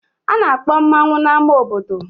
A na-akpọ mmanwu n'ámá obodo.